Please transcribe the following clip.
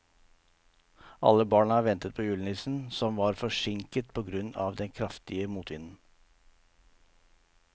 Alle barna ventet på julenissen, som var forsinket på grunn av den kraftige motvinden.